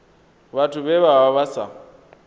vhathu vhe vha vha sa